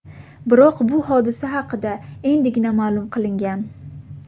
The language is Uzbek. Biroq bu hodisa haqida endigina ma’lum qilingan.